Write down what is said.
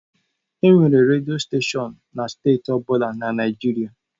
Enwere redio steshọn na steeti ọ bụla na Naịjirịa.